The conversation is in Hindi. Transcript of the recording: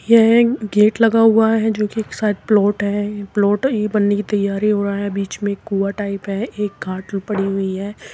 यह एक गेट लगा हुआ है जो कि शायद एक प्लॉट है प्लॉट ये बनने की तैयारी हो रहा है। बीच में एक कुँआ टाइप है एक खाट पड़ी हुई है।